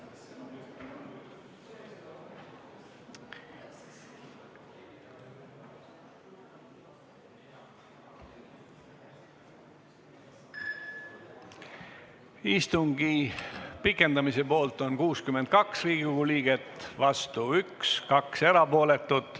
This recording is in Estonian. Hääletustulemused Istungi pikendamise poolt on 62 Riigikogu liiget, vastu 1, 2 erapooletut.